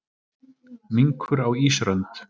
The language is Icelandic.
Minkur á ísrönd.